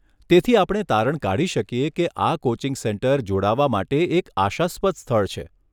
તેથી, આપણે તારણ કાઢી શકીએ કે આ કોચિંગ સેન્ટર જોડાવા માટે એક આશાસ્પદ સ્થળ છે.